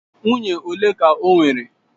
Nwunye ole ka o nwere?